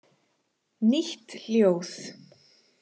Nýtt ljóð.